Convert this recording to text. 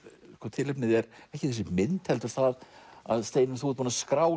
tilefnið er ekki þessi mynd heldur það að Steinunn þú ert búin að skrá